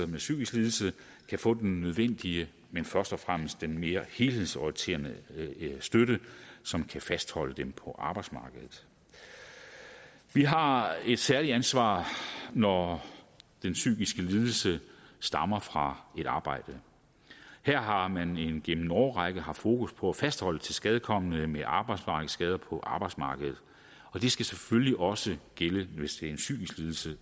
med psykisk lidelse kan få den nødvendige men først og fremmest den mere helhedsorienterede støtte som kan fastholde dem på arbejdsmarkedet vi har et særligt ansvar når den psykiske lidelse stammer fra et arbejde her har man igennem en årrække haft fokus på at fastholde tilskadekomne med arbejdsmarkedsskader på arbejdsmarkedet det skal selvfølgelig også gælde hvis det er en psykisk lidelse